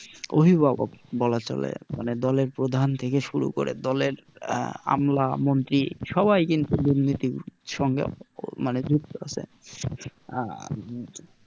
অভিভাবক বলা চলে মানে দলের প্রধান থেকে শুরু করে দলের আহ আমলা মন্ত্রী সবাই কিন্তু দুর্নীতির সঙ্গে মানে যুক্ত আছে